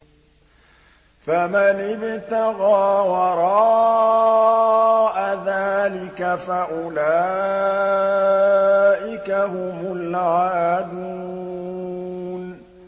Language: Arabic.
فَمَنِ ابْتَغَىٰ وَرَاءَ ذَٰلِكَ فَأُولَٰئِكَ هُمُ الْعَادُونَ